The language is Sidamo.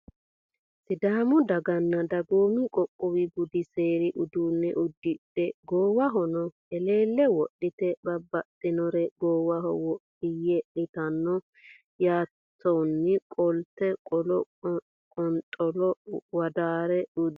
Sidaamu daganna dagoomu qoqowu budi seeri uduune udidhe goowahono heleele wodhite babaxinore goowaho wodhiye leeltano yaateworooni qolte qollo qonxollo wodaare udidhe no.